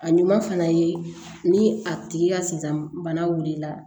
A ɲuman fana ye ni a tigi ka sizan bana wulila